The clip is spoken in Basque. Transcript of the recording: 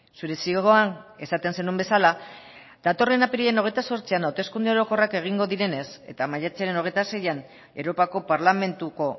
zure zioan esaten zenuen bezala datorren apirilaren hogeita zortzian hauteskunde orokorrak egingo direnez eta maiatzaren hogeita seian europako parlamentuko